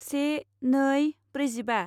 से नै ब्रैजिबा